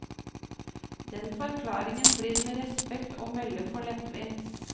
Den forklaringen blir med respekt å melde for lettvint.